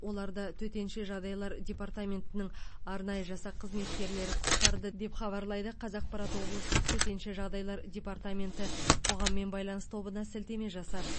оларды төтенше жағдай департаментінің арнайы жасақ қызметкерлері құтқарды деп хабарлайды қазақпарат облыстық төтенше жағдай департаменті қоғаммен байланыс тобына сілтеме жасап